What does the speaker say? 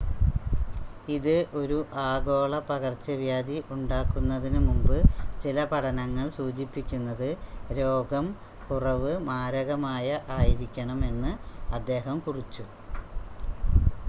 ഇത് ഒരു ആഗോള പകർച്ചവ്യാധി ഉണ്ടാക്കുന്നതിനുമുമ്പ് ചില പഠനങ്ങൾ സൂചിപ്പിക്കുന്നത് രോഗം കുറവ് മാരകമായ ആയിരിക്കണം എന്ന് അദ്ദേഹം കുറിച്ചു